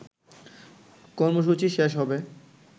কর্মসূচি শেষ হবে